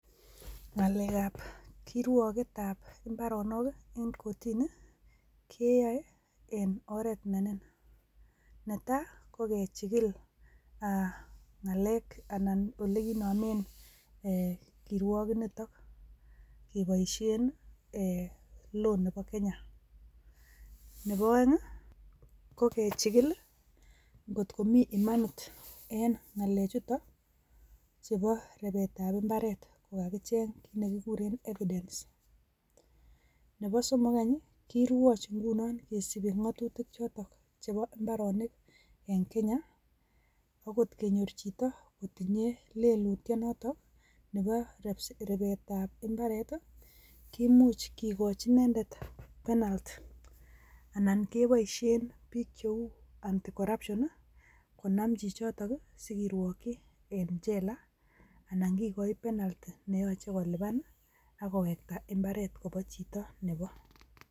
Ngalekab kirwoketab imbaroonok i,koen kotini keyooe en oret neniin. Netai kokechigil ngalek annan ole kikinomen kirwoketnitok. Keboishien law nebo Kenya. Nebo oeng ko kechigil i,kot ko mii imanit en, ngalechutok chebo repeatable imbaret. Kokacheng kit nekikuuren evidence [cd].Neboo somok any kirwoch ingunon kisiibi ng'atutiik chotok che imbaroonik en Kenya. Ako kot kenyoor chito kotinye lelutio notok Nebo repsetab imbaaret i.Kimuch kikochi inendet penalty ,anan keboishien biik cheu anti corruption konam chichotok akirwokyii en jela. Anan kikochi kergonget neyoche kolipan akowekta imbaret kowo chito neboo.